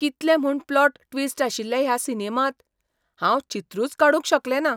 कितले म्हूण plot twist आशिल्ले ह्या सिनेमांत! हांव चित्रूच काडूंक शकलेंना.